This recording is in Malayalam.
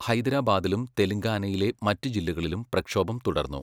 ഹൈദരാബാദിലും തെലങ്കാനയിലെ മറ്റ് ജില്ലകളിലും പ്രക്ഷോഭം തുടർന്നു.